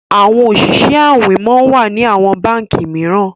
àwọn Oṣiṣẹ awin món wá ní àwọn bánkì míràn